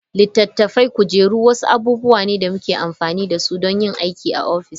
Littattafai, kujeru wasu abubuwa ne da muke amfani da su don yin aiki a ofis.